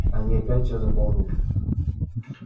они опять все заполнили